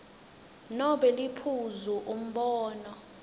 nobe liphuzu umbono